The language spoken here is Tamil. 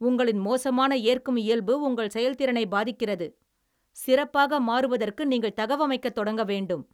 உங்களின் மோசமான ஏற்கும் இயல்பு உங்கள் செயல்திறனை பாதிக்கிறது, சிறப்பாக மாறுவதற்கு நீங்கள் தகவமைக்கத் தொடங்க வேண்டும்.